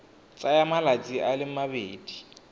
tsaya malatsi a le mabedi